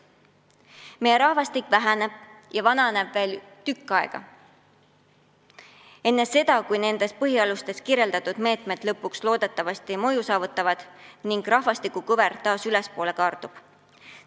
Meie rahvastik väheneb ja vananeb veel tükk aega enne seda, kui nendes põhialustes kirjas olevad meetmed lõpuks loodetavasti mõju saavutavad ning rahvastikukõver taas ülespoole kaardub.